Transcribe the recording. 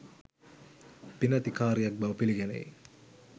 පිනැති කාරියක් බව පිළිගැනේ.